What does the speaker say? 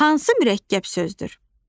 Hansı mürəkkəb sözdür?